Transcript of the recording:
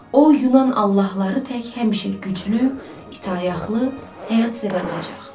O yunan allahları tək həmişə güclü, itaətli, həyatsevər olacaq.